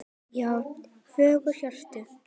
Já, fjögur HJÖRTU!